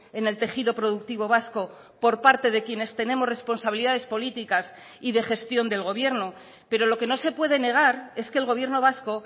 en el tejido productivo vasco por parte de quienes tenemos responsabilidades políticas y de gestión del gobierno pero lo que no se puede negar es que el gobierno vasco